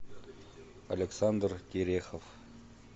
александр терехов